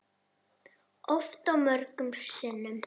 Oft og mörgum sinnum.